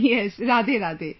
Yes, RadheRadhe